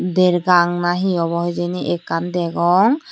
der gang na hi obo hijeni ekkan degong.